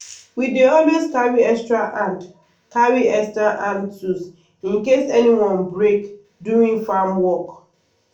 we dey always carry extra hand carry extra hand tools in case any one break during farm work.